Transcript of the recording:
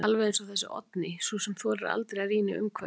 Alveg eins og þessi Oddný, sú þorir aldeilis að rýna í umhverfið.